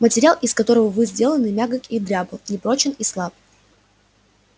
материал из которого вы сделаны мягок и дрябл непрочен и слаб